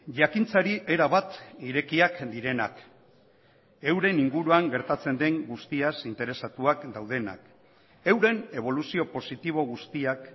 jakintzari erabat irekiak direnak euren inguruan gertatzen den guztiaz interesatuak daudenak euren eboluzio positibo guztiak